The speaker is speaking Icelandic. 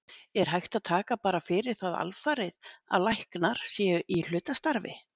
Er hægt að taka bara fyrir það alfarið að læknar séu í hlutastarfi?